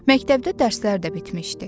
Məktəbdə dərslər də bitmişdi.